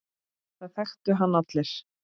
Það þekktu hann allir.